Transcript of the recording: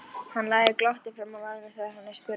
Hann læðir glotti fram á varirnar þegar hann er spurður.